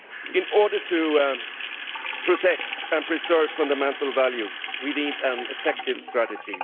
In order to protect and preserve fundamental values we need an effective strategy.